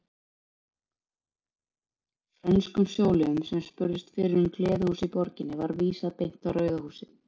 Frönskum sjóliðum sem spurðust fyrir um gleðihús í borginni var vísað beint á Rauða húsið.